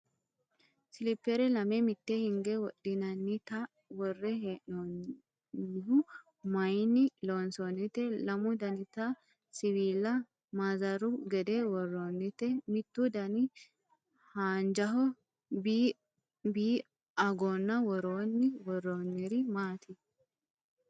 Silippere lame mitte hinge wodhinannita worre hee'noonnihu. Mayiinni loonsoonnite lamu danite siwiila maazaru gede worroonniti mittu Dani haanjaho bi agonna worroonni worroonniri maati ?